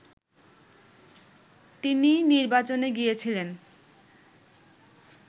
তিনি নির্বাচনে গিয়েছিলেন